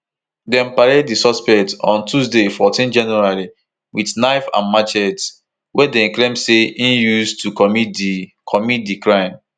dem parade di suspect on tuesday fourteen january wit knife and machetes wey dem claim say im use to commit di commit di crime